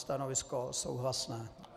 Stanovisko souhlasné.